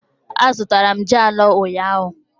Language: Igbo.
Azụtara m ji anọ ụnyahụ